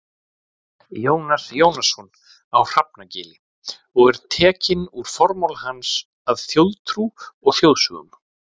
Jónas Jónasson á Hrafnagili og er tekinn úr formála hans að Þjóðtrú og þjóðsögnum.